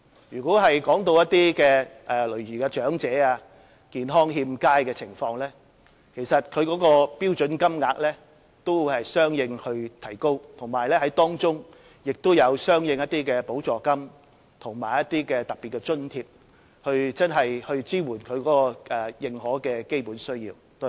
如果談到長者、健康欠佳人士的情況，該標準金額也會相應提高，當中也有一些相應的補助金和特別津貼，真正支援其認可的基本需要。